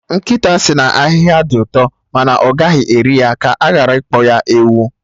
Nkịta sị na ahịhịa dị ụtọ ma ọ gaghị eri ya, ka aghara ịkpọ ya ewu